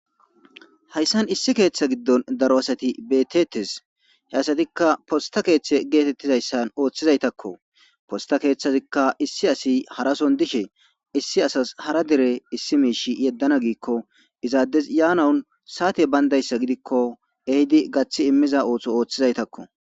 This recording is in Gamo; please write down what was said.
Hayssan issi keththe giidon daaro asati bettetes he asatika posta keththe gettetizayssan ooththizayttako posta keththazika issi asi harason dishe issi asas hara dere issi mishshe yedana giiko iizadey yanawu sa'atey bayndayssa giidiko gaththi iimiza ootho oothizayttako.